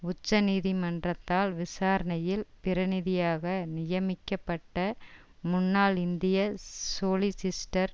உச்சநீதிமன்றத்தால் விசாரணையில் பிரதிநிதியாக நியமிக்கப்பட்ட முன்னாள் இந்திய சொலிஸிட்டர்